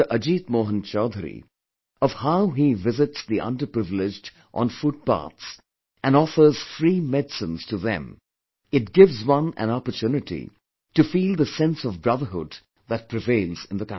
Ajit Mohan Choudhary, of how he visits the underprivileged on footpaths and offers free medicines to them, it gives one an opportunity to feel the sense of brotherhood that prevails in the country